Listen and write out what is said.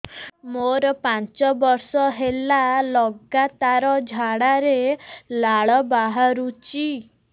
ମୋରୋ ପାଞ୍ଚ ବର୍ଷ ହେଲା ଲଗାତାର ଝାଡ଼ାରେ ଲାଳ ବାହାରୁଚି